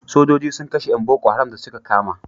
Sojoji sun kashe yan boko haram da su ka kama